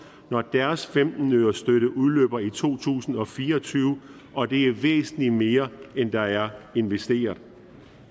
når deres femten ørestøtte udløber i to tusind og fire og tyve og det er væsentlig mere end der er investeret